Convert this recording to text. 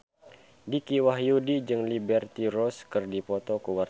Dicky Wahyudi jeung Liberty Ross keur dipoto ku wartawan